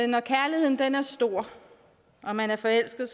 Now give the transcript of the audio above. når kærligheden er stor og man er forelsket